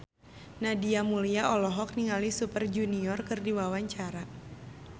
Nadia Mulya olohok ningali Super Junior keur diwawancara